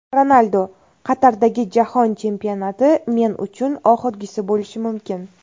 Ronaldu: Qatardagi jahon chempionati men uchun oxirgisi bo‘lishi mumkin .